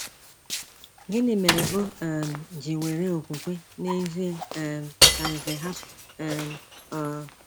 Gịnị mere o um ji were okwukwe n’ezie um ka Nze hapụ um Ur?